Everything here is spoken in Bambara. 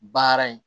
Baara in